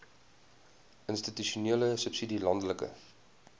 institusionele subsidie landelike